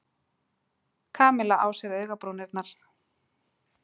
Kamilla á sér augabrúnirnar.